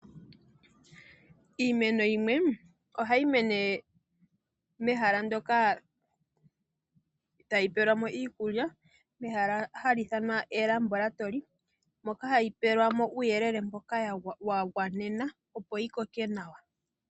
Iimeno yimwe ohayi mene mehala ndyoka tayi pelwamo iikulya. Mehala hali ithanwa eLabaratory moka hayi pelwamo uuyelele mboka wagwanena opo yikoke nawa.